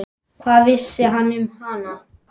Hvað vissi hann um hana?